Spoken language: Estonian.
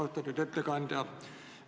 Austatud ettekandja!